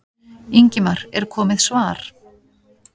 Ingimar: Er komið svar?